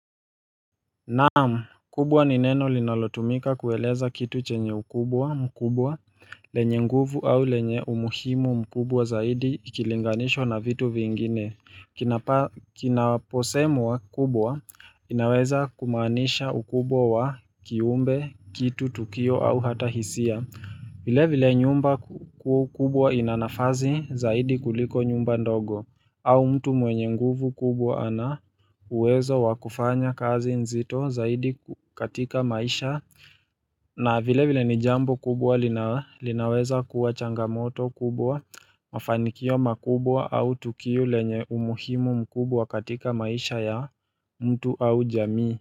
Naam, kubwa ni neno linalotumika kueleza kitu chenye ukubwa, mkubwa, lenye nguvu au lenye umuhimu mkubwa zaidi ikilinganishwa na vitu vingine. Kinaposemwa kubwa, inaweza kumaanisha ukubwa wa kiumbe, kitu, tukio au hata hisia. Vile vile nyumba kubwa ina nafasi zaidi kuliko nyumba ndogo au mtu mwenye nguvu kubwa ana uwezo wa kufanya kazi nzito zaidi katika maisha na vile vile ni jambo kubwa linaweza kuwa changamoto kubwa mafanikio makubwa au tukio lenye umuhimu mkubwa katika maisha ya mtu au jamii.